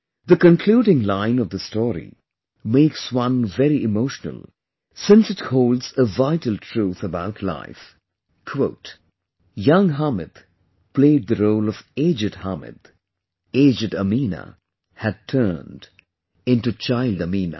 The concluding line of this story makes one very emotional since it holds a vital truth about life, "Young Hamid played the role of aged Hamid aged Ameena had turned into child Ameena"